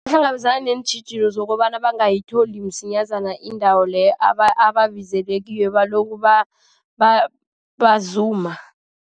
Bahlangabezana neentjhijilo zokobana bangayithola msinyazana indawo leyo ababizelwe kiyo, balokhu bazuma.